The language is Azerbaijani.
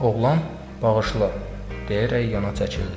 Oğlan bağışla deyərək yana çəkildi.